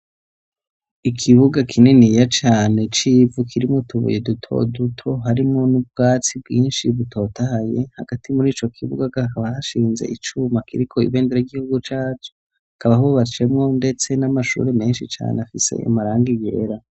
Ikibuga kininiya cane c'ivu kirimo utubuye duto duto harimwo n'ubwatsi bwinshi butotahaye. Hagati mur'ico kibuga, hakaba hashinze icuma kiriko ibendera y'igihugu cacu. Hakaba hubatsemwo ndetse n'amashuri menshi cane afise amarangi yera.